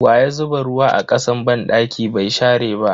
Waya zuba ruwa a kasan banɗaki bai share ba?